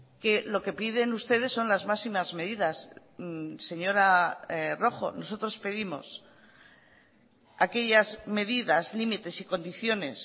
que lo que piden ustedes son las máximas medidas señora rojo nosotros pedimos aquellas medidas límites y condiciones